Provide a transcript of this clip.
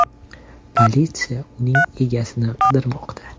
Politsiya uning egasini qidirmoqda.